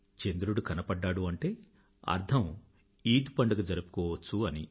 చంద్రుడు కనబడ్డాడంటే అర్ధం ఈద్ పండుగ జరుపుకోవచ్చని